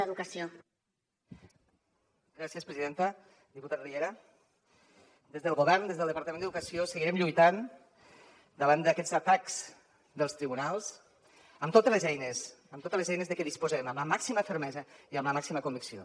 diputat riera des del govern des del departament d’educació seguirem lluitant davant d’aquests atacs dels tribunals amb totes les eines amb totes les eines de què disposem amb la màxima fermesa i amb la màxima con vicció